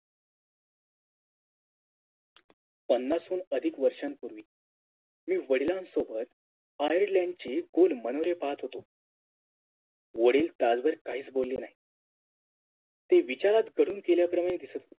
पन्नासहून अधिक वर्षांपूर्वी मी वडिलांसोबत Ireland चे खोल मनोरे पाहत होतो वडील तासभर काहीच बोलले नाहीत ते विचारात कढून गेल्या प्रमाणे दिसत होते